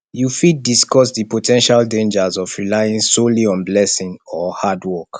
you fit discuss di po ten tial dangers of relying solely on blessing or hard work